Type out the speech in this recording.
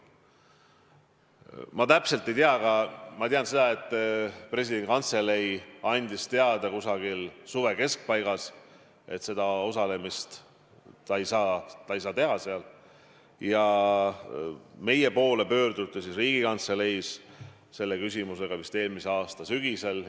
Ma täpselt ei tea, aga ma tean seda, et Presidendi Kantselei andis kusagil suve keskpaigas teada, et president seal osaleda ei saa, ja Riigikantselei poole pöörduti selle küsimusega vist eelmise aasta sügisel.